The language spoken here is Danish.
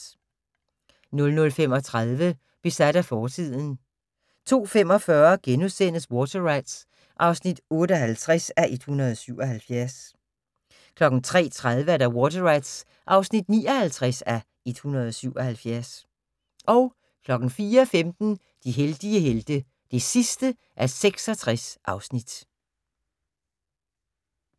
00:35: Besat af fortiden 02:45: Water Rats (58:177)* 03:30: Water Rats (59:177) 04:15: De heldige helte (66:66)